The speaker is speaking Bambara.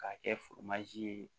K'a kɛ ye